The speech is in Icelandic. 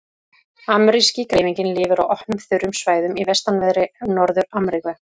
Ameríski greifinginn lifir á opnum, þurrum svæðum í vestanverðri Norður-Ameríku.